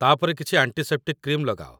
ତା'ପରେ କିଛି antiseptic cream ଲଗାଅ